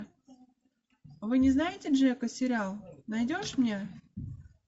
вы не знаете джека сериал найдешь мне